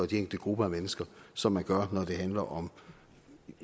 de enkelte grupper af mennesker som man gør når det handler om